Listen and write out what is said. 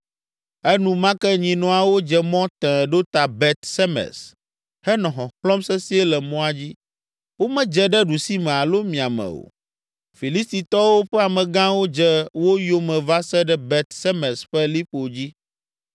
Enumake nyinɔawo dze mɔ tẽe ɖo ta Bet Semes henɔ xɔxlɔ̃m sesĩe le mɔa dzi, womedze ɖe ɖusime alo miame o. Filistitɔwo ƒe amegãwo dze wo yome va se ɖe Bet Semes ƒe liƒo dzi.